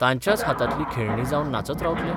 तांच्याच हातांतली खेळणीं जावन नाचत रावतले?